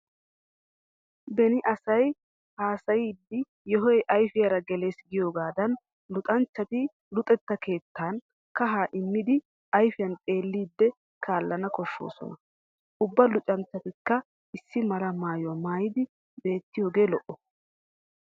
Beni asay hayseyiiddi yohoy ayfiyaara gelees giyoogaadan luxanchchati luxetta keettan kahaa immiiddi ayfiyan xeelliiddi kaallana koshshoosona. Ubba lunchchatikka issi mala maayuwaa maayidi beettiyoogee lo'o.